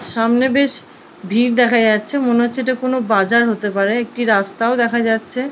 সামনে বেশ ভিড় দেখা যাচ্ছে মনে হচ্ছে এটা কোনো বাজার হতে পারে একটি রাস্তাও দেখা যাচ্ছে --